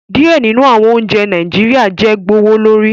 Diẹ ninu awọn ounjẹ Naijiria jẹ gbowolori